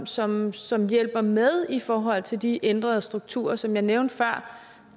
som som hjælper med i forhold til de ændrede strukturer som jeg nævnte før